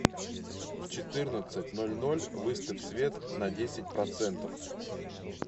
в четырнадцать ноль ноль выставь свет на десять процентов